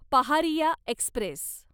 Paharia Express